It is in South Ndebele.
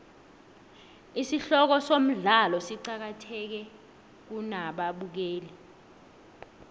isihloko somdlalo siqakathekile kubabukeli